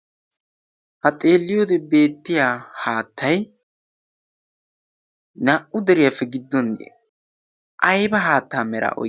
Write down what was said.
ha xeelliyoode beettiyaa haattay na'u deriyaappe gidduwan ayba haataa meraa oyqqidee?